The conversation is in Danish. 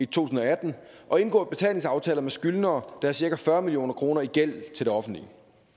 tusind og atten og indgået betalingsaftaler med skyldnere der har cirka fyrre million kroner i gæld til det offentlige